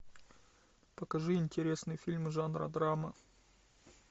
покажи интересный фильм жанра драма